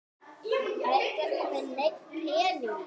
Ertu ekki með neinn pening?